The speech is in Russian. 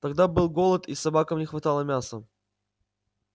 тогда был голод и собакам не хватало мяса